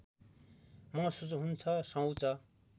महसूस हुन्छ शौच